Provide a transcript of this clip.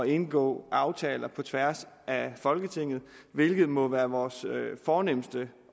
indgå aftaler på tværs af folketinget hvilket må være vores fornemste